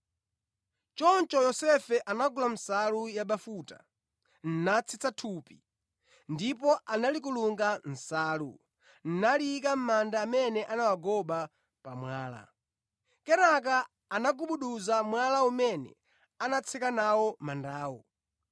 Choncho Yosefe anagula nsalu yabafuta, natsitsa thupi, ndipo analikulunga mʼnsalu, naliyika mʼmanda amene anawagoba pa mwala. Kenaka anagubuduza mwala umene anatseka nawo mandawo.